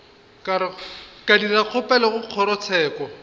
ka dira kgopelo go kgorotsheko